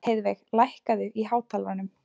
Heiðveig, lækkaðu í hátalaranum.